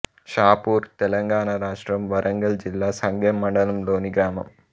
షాపూర్ తెలంగాణ రాష్ట్రం వరంగల్ జిల్లా సంగెంమండలం లోని గ్రామం